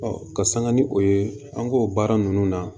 ka sanga ni o ye an k'o baara ninnu na